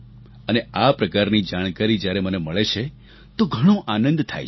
અને આ પ્રકારની જાણકારી જ્યારે મને મળે છે તો ઘણો આનંદ થાય છે